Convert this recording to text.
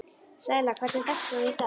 Sæla, hvernig er dagskráin í dag?